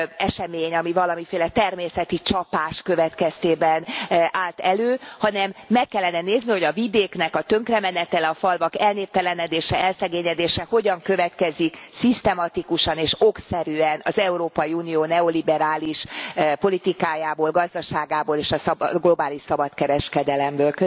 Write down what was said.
esemény, ami valamiféle természeti csapás következtében állt elő, hanem meg kellene nézni, hogy a vidéknek a tönkremenetele, a falvak elnéptelenedése, elszegényedése hogyan következik szisztematikusan és okszerűen az Európai Unió neoliberális politikájából, gazdaságából és a globális szabadkereskedelemből.